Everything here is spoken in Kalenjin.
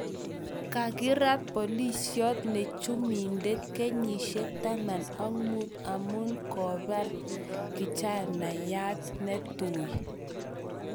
Kakiraat pilisioot ne chumbindet kenyiishek taman ak muut amu koobaar kichanayaat netuui